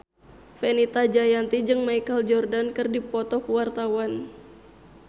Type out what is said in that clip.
Fenita Jayanti jeung Michael Jordan keur dipoto ku wartawan